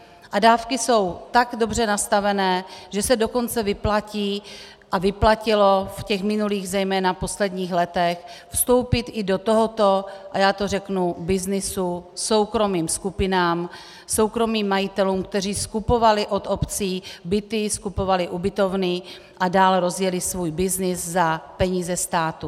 A dávky jsou tak dobře nastavené, že se dokonce vyplatí, a vyplatilo v těch minulých, zejména posledních letech, vstoupit i do tohoto, a já to řeknu, byznysu soukromým skupinám, soukromým majitelům, kteří skupovali od obcí byty, skupovali ubytovny a dále rozjeli svůj byznys za peníze státu.